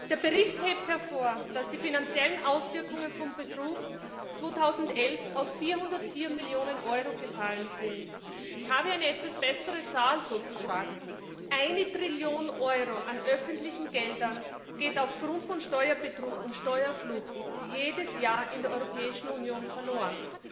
Der Bericht hebt hervor, dass die finanziellen Auswirkungen von Betrug 2011 auf 404 Millionen Euro gefallen sind. Ich habe eine etwas bessere Zahl Eine Trillion Euro an öffentlichen Geldern geht aufgrund von Steuerbetrug und Steuerflucht jedes Jahr in der Europäischen Union verloren.